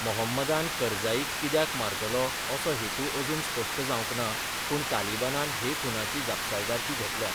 मोहम्मदान करझाईक कित्याक मारतलो असो हेतू अजून स्पश्ट जावंक ना, पूण तालिबानान हे खूनाची जापसालदारकी घेतल्या.